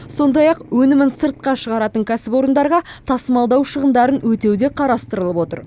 сондай ақ өнімін сыртқа шығаратын кәсіпорындарға тасымалдау шығындарын өтеу де қарастырылып отыр